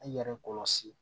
An yɛrɛ kɔlɔsi